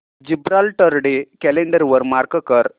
Gibraltar day calendar वर mark कर